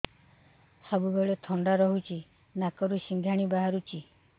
ସବୁବେଳେ ଥଣ୍ଡା ରହୁଛି ନାକରୁ ସିଙ୍ଗାଣି ବାହାରୁଚି